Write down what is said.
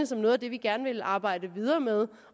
som noget vi gerne vil arbejde videre med